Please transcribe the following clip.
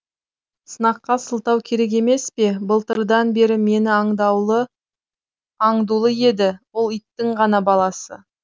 сыныққа сылтау керек емес пе былтырдан бері мені аңдулы еді ол иттің ғана баласы